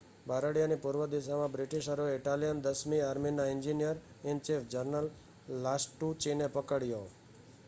બારડિયાની પૂર્વ દિશામાં બ્રિટિશરોએ ઇટાલિયન દસમી આર્મીનાં એન્જિનિયર-ઇન-ચીફ જનરલ લાસ્ટુચીને પકડ્યો